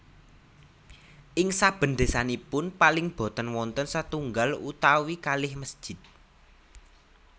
Ing saben desanipun paling boten wonten setunggal utawi kalih mesjid